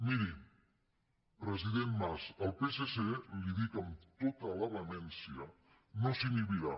miri president mas el psc li ho dic amb tota la vehemència no s’inhibirà